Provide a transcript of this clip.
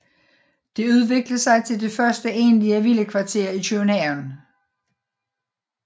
Det udviklede sig til det første egentlige villakvarter i København